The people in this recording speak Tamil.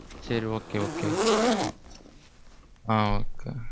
சரி Okay okay. ஆ. Okay.